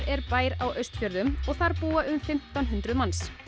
er bær á Austfjörðum og þar búa um fimmtán hundruð manns